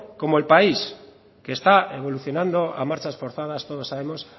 como el país que está evolucionando a marchar forzadas todos sabemo s